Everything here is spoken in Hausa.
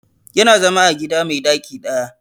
Ya na zama a gida mai ɗaki ɗaya